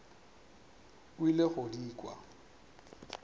o ile go di kwa